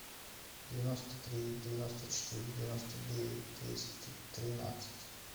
девяносто три девяносто четыре девяносто девять двести тринадцать